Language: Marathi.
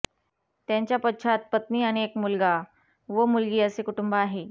त्यांच्या पश्चात पत्नी आणि एक मुलगा व मुलगी असे कुटुंब आहे